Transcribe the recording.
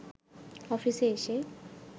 অফিসে এসে